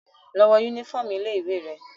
Lọ wọ yúnífọ̀ọmù ilé ìwé rẹ!